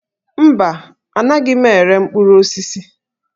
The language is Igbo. Mba, anaghị m ere mkpụrụ osisi